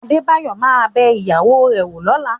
Adébáyọ̀ ma bẹ ìyàwó rẹ̀ wò lọ́la